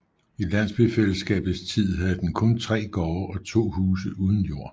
I landsbyfællesskabets tid havde den kun 3 gårde og 2 huse uden jord